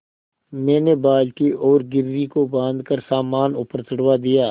मैंने बाल्टी और घिर्री को बाँधकर सामान ऊपर चढ़वा दिया